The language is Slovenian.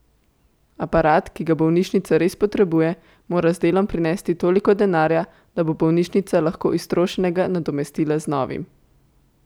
Aparat, ki ga bolnišnica res potrebuje, mora z delom prinesti toliko denarja, da bo bolnišnica lahko iztrošenega nadomestila z novim.